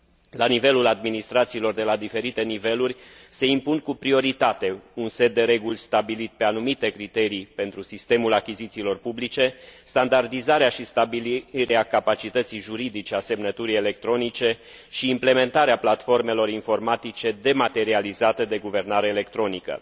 La nivelul administrațiilor de la diferite niveluri se impun cu prioritate un set de reguli stabilit pe anumite criterii pentru sistemul achizițiilor publice, standardizarea și stabilirea capacității juridice a semnăturii electronice și implementarea platformelor informatice dematerializate de guvernare electronică.